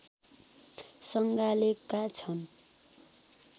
सँगालेका छन्